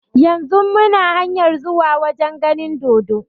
Yanzun muna hanyar zuwa wajen ganin dodo